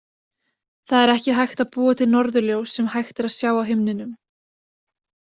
Það er ekki hægt að búa til norðurljós sem hægt er að sjá á himninum.